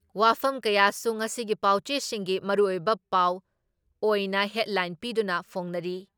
ꯋꯥꯐꯝ ꯀꯌꯥꯁꯨ ꯉꯁꯤꯒꯤ ꯄꯥꯎꯆꯦꯁꯤꯡꯒꯤ ꯃꯔꯨꯑꯣꯏꯕ ꯄꯥꯎ ꯑꯣꯏꯅ ꯍꯦꯗꯂꯥꯏꯟ ꯄꯤꯗꯨꯅ ꯐꯣꯡꯅꯔꯤ ꯫